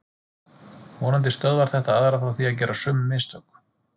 Vonandi stöðvar þetta aðra frá því að gera sömu mistök.